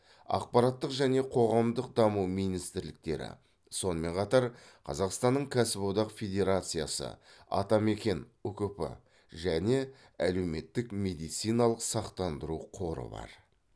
ақпараттық және қоғамдық даму министрліктері сонымен қатар қазақстанның кәсіподақ федерациясы атамекен ұкп және әлеуметтік медициналық сақтандыру қоры бар